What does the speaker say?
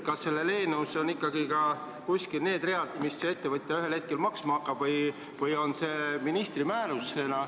Kas selles eelnõus on ikkagi kuskil ka need read, mis see ettevõtja ühel hetkel maksma hakkab, või tuleb see ministri määrusega?